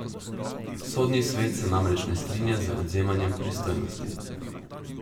Sodni svet se namreč ne strinja z odvzemanjem pristojnosti.